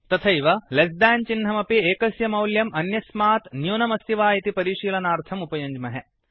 तथैव less than less than चिह्नमपि एकस्य मौल्यम् अन्यस्मात् न्यूनम् अस्ति वा इति परिशीलनार्थम् उपयुञ्ज्महे